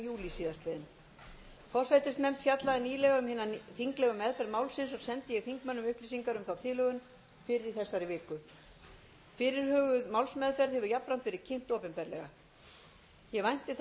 tuttugasta og níunda júlí síðastliðinn forsætisnefnd fjallaði nýlega um hina þinglegu meðferð málsins og sendi ég þingmönnum upplýsingar um þá tilhögun fyrr í þessari viku fyrirhuguð málsmeðferð hefur jafnframt verið kynnt opinberlega ég vænti þess að sú